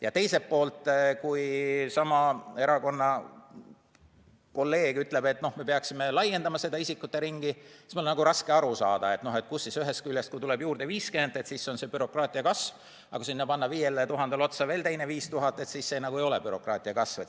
Ja teiselt poolt, kui sama erakonna kolleeg ütleb, et me peaksime laiendama seda isikuteringi, siis mul on raske aru saada, et kui ühest küljest, kui tuleb juurde 50 inimest, siis on see bürokraatia kasv, aga kui 5000-le panna otsa veel teine 5000, siis see nagu ei ole bürokraatia kasv.